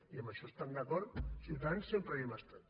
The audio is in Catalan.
i amb això estem d’acord ciutadans sempre hi hem estat